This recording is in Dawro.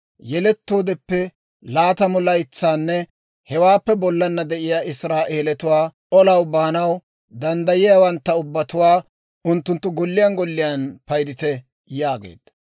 «Yelettoodeppe laatamu laytsanne hewaappe bollana de'iyaa Israa'eelatuwaa, olaw baanaw danddayiyaawantta ubbatuwaa, unttunttu golliyaan golliyaan paydite» yaageedda.